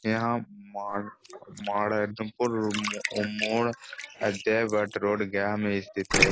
यहाँ माड़ माड़ मोड़ रोड गया में सथित है।